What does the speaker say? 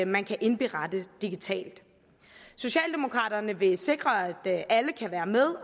man kan indberette digitalt socialdemokraterne vil sikre at alle kan være med